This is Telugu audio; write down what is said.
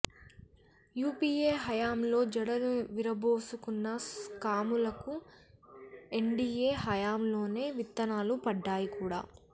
యుపిఏ హయాంలో జడలు విరబోసుకున్న స్కాములకు ఎన్డిఏ హయాంలోనే విత్తనాలు పడ్డాయి కదా